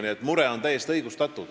Teie mure on täiesti õigustatud.